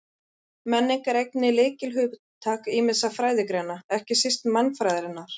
Menning er einnig lykilhugtak ýmissa fræðigreina, ekki síst mannfræðinnar.